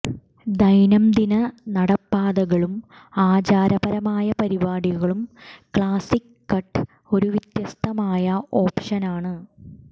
ദൈനംദിന നടപ്പാതകളും ആചാരപരമായ പരിപാടികളും ക്ലാസിക് കട്ട് ഒരു വ്യത്യസ്തമായ ഓപ്ഷനാണ്